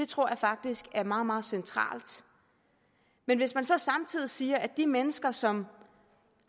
tror jeg faktisk er meget meget centralt men hvis man så samtidig siger at de mennesker som